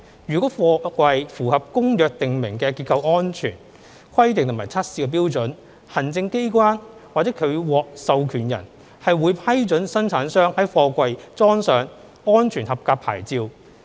如果貨櫃符合《公約》訂明的結構安全規定和測試標準，行政機關或其獲授權人會批准生產商在貨櫃裝上"安全合格牌照"。